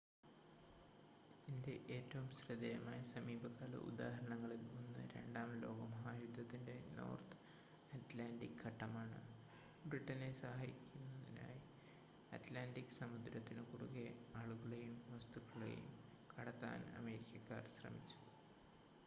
ഇതിൻ്റെ ഏറ്റവും ശ്രദ്ധേയമായ സമീപകാല ഉദാഹരണങ്ങളിൽ ഒന്ന് രണ്ടാം ലോക മഹായുദ്ധത്തിൻ്റെ നോർത്ത് അറ്റ്ലാൻറ്റിക് ഘട്ടമാണ് ബ്രിട്ടനെ സഹായിക്കാനായി അറ്റ്ലാൻറ്റിക് സമുദ്രത്തിന് കുറുകെ ആളുകളെയും വസ്തുക്കളെയും കടത്താൻ അമേരിക്കക്കാർ ശ്രമിച്ചു